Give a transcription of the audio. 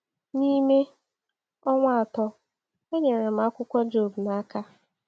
N’ime ọnwa atọ, e nyere m akwụkwọ Job n’aka.